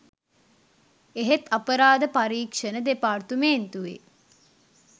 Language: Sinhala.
එහෙත් අපරාධ පරීක්ෂණ දෙපාර්තමේන්තුවේ